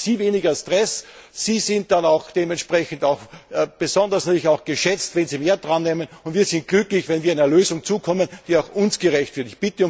Dann haben Sie weniger Stress, Sie sind dann auch dementsprechend besonders geschätzt, wenn Sie mehr drannehmen, und wir sind glücklich, wenn wir zu einer Lösung kommen, die auch uns gerecht wird.